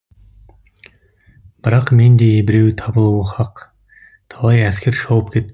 бірақ мендей біреу табылуы хақ талай әскер шауып кетті